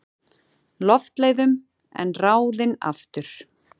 Loftleiðum en ráðinn aftur.